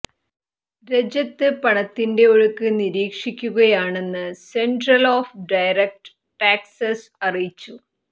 രജ്യത്ത് പണത്തിന്റെ ഒഴുക്ക് നിരീക്ഷിക്കുകയാണെന്ന് സെന്ട്രല് ഓഫ് ഡയറക്ട് ടാക്സസ് അറിയിച്ചു